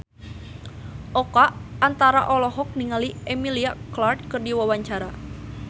Oka Antara olohok ningali Emilia Clarke keur diwawancara